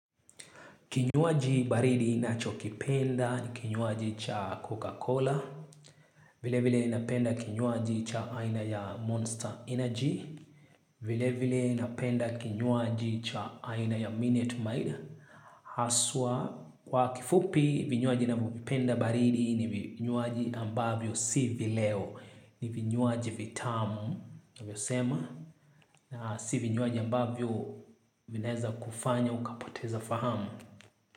Kinywaji baridi inacho kipenda ni kinywaji cha coca cola. Vile vile inapenda kinywaji cha aina ya monster energy. Vile vile inapenda kinyuaji cha aina ya minute maid. Haswa kwa kifupi vinywaji na vipenda baridi ni vinywaji ambavyo si vileo. Ni vinywaji vitamu na vyo sema. Na si vinywaji ambavyo vineza kufanya ukapoteza fahamu.